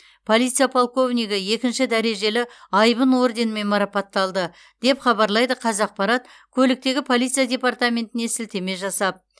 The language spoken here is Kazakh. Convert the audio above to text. полиция полковнигі екінші дәрежелі айбын орденімен марапатталды деп хабарлайды қазақпарат көліктегі полиция департаментіне сілтеме жасап